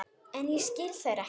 En ég skil þær ekki.